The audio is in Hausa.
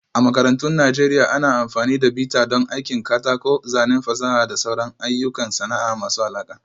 A makarantun Najeriya, ana amfani da bita don aikin katako, zanen fasaha da sauran ayyukan sana'a masu alaƙa